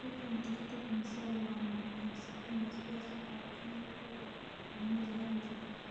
Chicken tikka masala waa macaan, saxan basbaas ah oo caan ku ah cunnada Hindida